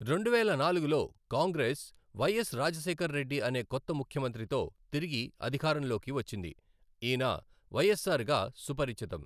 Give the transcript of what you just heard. రెండువేల నాలుగులో కాంగ్రెస్, వైఎస్ రాజశేఖరరెడ్డి అనే కొత్త ముఖ్యమంత్రితో తిరిగి అధికారంలోకి వచ్చింది, ఈయన వైఎస్ఆర్ గా సుపరిచితం.